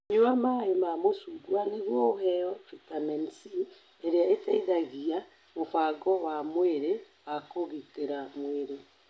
Nyua maĩ ma macungwa nĩguo ũheo bitamini C, ĩrĩa ĩteithagia mũbango wa mwĩrĩ wa kũgitĩra mwĩrĩ.